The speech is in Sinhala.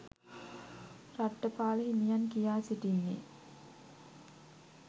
රට්ඨපාල හිමියන් කියා සිටින්නේ